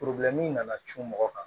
nana cun mɔgɔ kan